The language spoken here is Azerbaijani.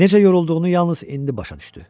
Necə yorulduğunu yalnız indi başa düşdü.